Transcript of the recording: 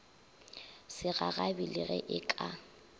segagabi le ge e ka